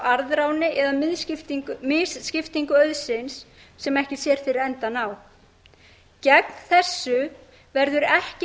arðráni eða misskiptingu auðsins sem ekki sér fyrir endann á gegn þessu verður ekki